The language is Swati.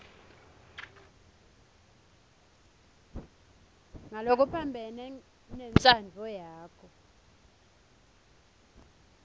ngalokuphambene nentsandvo yakho